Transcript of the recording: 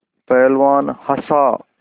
पहलवान हँसा